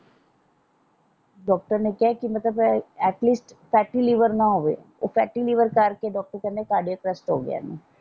Doctor ਨੇ ਕਿਹਾ ਕਿ ਮਤਲਬ ਇਹ ਐਟਲੀਸਟ ਫੈਟੀ ਲੀਵਰ ਨਾ ਹੋਵੇ ਫੈਟੀ ਲੀਵਰ ਕਰਕੇ ਡਾਕਟਰ ਕਹਿੰਦੇ ਕਾਰਡੀਅਕ ਅਰੈੱਸਟ ਹੋਗਿਆ ਓਹਨੂੰ।